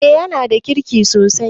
Eh yanada kirki sosai.